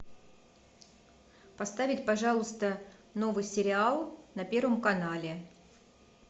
поставить пожалуйста новый сериал на первом канале